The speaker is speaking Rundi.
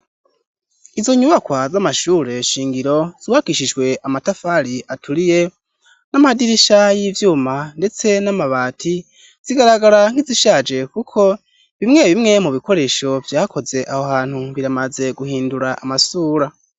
Izo nyubakwa z'amashure shingiro zuwakishijwe amatafari aturiye n'amadirisha y'ivyuma, ndetse n'amabati zigaragara nkizishaje, kuko bimwe bimwe mu bikoresho vyakoze aho hantu biramaze guhindura amasura.